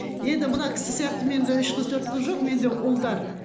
енді мына кісі сияқты менде үш қыз төрт қыз жоқ менде ұлдар